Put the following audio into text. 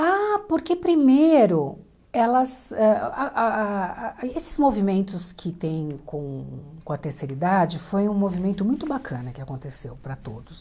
Ah, porque primeiro, elas ãh ah ah esses movimentos que tem com com a terceira idade, foi um movimento muito bacana que aconteceu para todos.